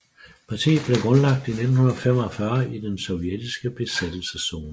Partiet blev grundlagt i 1945 i den sovjetiske besættelseszone